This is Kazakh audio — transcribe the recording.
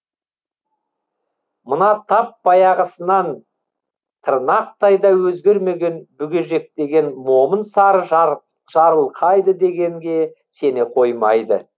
мына тап баяғысынан тырнақтай да өзгермеген бүгежектеген момын сары жарылқайды дегенге сене қоймайды